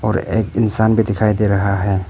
और एक इंसान भी दिखाई दे रहा है।